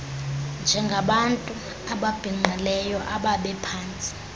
njengabantu ababhinqileyo ababephantsi